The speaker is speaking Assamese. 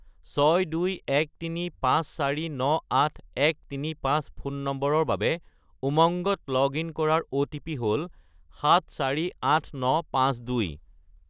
62135498135 ফোন নম্বৰৰ বাবে উমংগত লগ-ইন কৰাৰ অ'টিপি হ'ল 748952